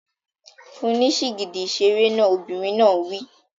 Fún un ní sìgìdì ìṣeré náà! Obìnrin náà wí.